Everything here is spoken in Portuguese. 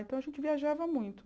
Então, a gente viajava muito.